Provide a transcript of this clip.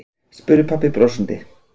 spurði pabbi brosandi.